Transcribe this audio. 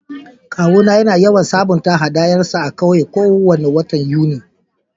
Kawu na yana yawan sabunta hadayan sa a'ƙauye ko wani watan Yuni.